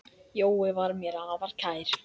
Jói var mér afar kær.